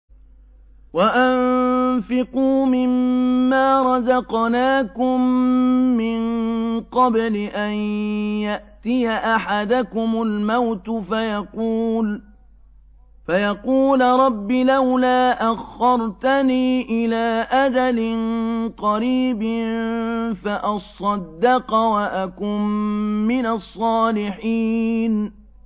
وَأَنفِقُوا مِن مَّا رَزَقْنَاكُم مِّن قَبْلِ أَن يَأْتِيَ أَحَدَكُمُ الْمَوْتُ فَيَقُولَ رَبِّ لَوْلَا أَخَّرْتَنِي إِلَىٰ أَجَلٍ قَرِيبٍ فَأَصَّدَّقَ وَأَكُن مِّنَ الصَّالِحِينَ